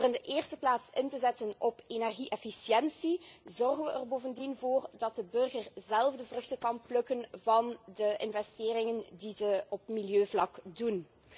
Door in de eerste plaats in te zetten op energie efficiëntie, zorgen we er bovendien voor dat de burger zelf de vruchten kan plukken van de investeringen die ze op milieuvlak doen.